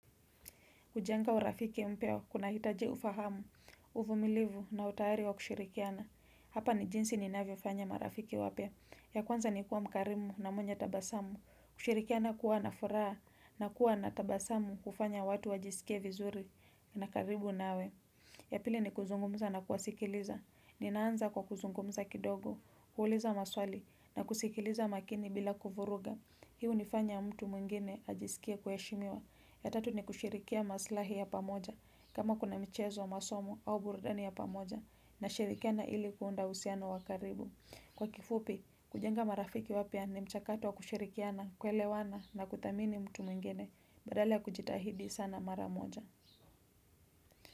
Kujenga urafiki mpeo, kunahitaji ufahamu, uvumilivu na utayari wa kushirikiana. Hapa ni jinsi ninavyofanya marafiki wapya. Ya kwanza ni kuwa mkarimu na mwenye tabasamu. Kushirikiana kuwa na furaha na kuwa na tabasamu hufanya watu wajisikie vizuri. Nakaribu nawe. Ya pili ni kuzungumza na kuwasikiliza. Ninaanza kwa kuzungumza kidogo, kuuliza maswali na kusikiliza makini bila kuvuruga. Hii hunifanya mtu mwengine ajisikie kuheshimiwa. Ya tatu ni kushirikia maslahi ya pamoja, kama kuna mchezo masomo au burudani ya pamoja, nashirikiana ili kuunda usiano wa karibu. Kwa kifupi, kujenga marafiki wapya ni mchakato wa kushirikiana kuelewana na kudhamini mtu mwingene, badala ya kujitahidi sana maramoja.